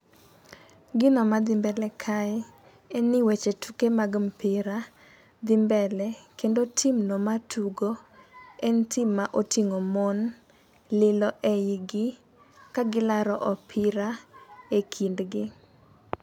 Gino madhi mbele kae, en ni weche tuke mag mpira dhi mbele ,kendo timno matugo en tim ma oting'o mon lilo e igi ka gilaro opira e kindgi.